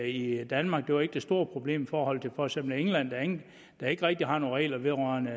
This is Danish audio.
i danmark det var ikke det store problem forhold til for eksempel england der ikke rigtig har nogen regler vedrørende